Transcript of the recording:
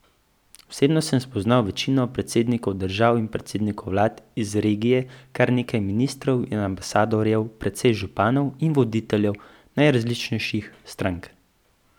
Osebno sem spoznal večino predsednikov držav in predsednikov vlad iz regije, kar nekaj ministrov in ambasadorjev, precej županov in voditeljev najrazličnejših strank.